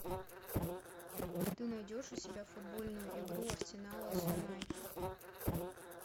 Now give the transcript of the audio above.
ты найдешь у себя футбольную игру арсенала с юнайтед